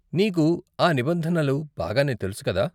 నీకు ఆ నిబంధనలు బాగానే తెలుసు కదా?